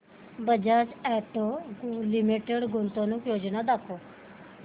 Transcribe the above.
Bajaj auto limited गुंतवणूक योजना दाखव